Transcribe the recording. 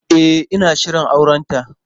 E, ina shirin aurenta.